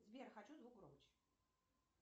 сбер хочу звук громче